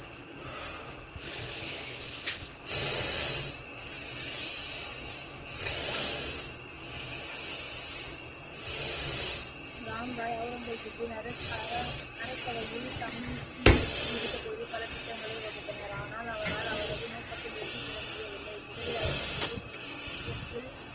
ராம் ராய் ஔரங்கச்பின்அரச அரசவையில் தங்கி இருந்த பொழுது பல திட்டங்களை வகுத்தனர் ஆனால் அவரால் அவரது நோக்கத்தில் வெற்றி பெற முடியவில்லை முதலில் அவுரங்கசீப் இலக்கில்.